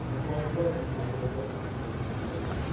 ну могла бы догадаться как бы да